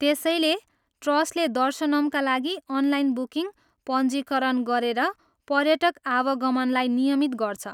त्यसैले ट्रस्टले दर्शनमका लागि अनलाइन बुकिङ पञ्जीकरण गरेर पर्यटक आवागमनलाई नियमित गर्छ।